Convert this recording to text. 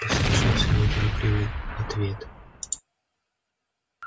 послышался неторопливый ответ